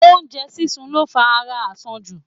Oú́njẹ sísun lo fa ara àsanjù.